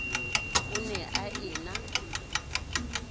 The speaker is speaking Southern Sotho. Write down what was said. o ne a e na